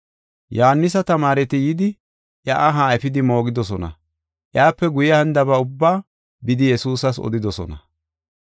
Yohaanisa tamaareti yidi iya aha efidi moogidosona. Iyape guye hanidaba ubbaa bidi Yesuusas odidosona.